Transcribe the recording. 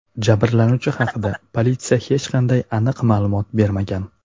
Jabrlanuvchi haqida politsiya hech qanday aniq ma’lumot bermagan.